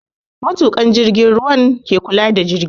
Matukan jirgin ruwan ke kula da jirgi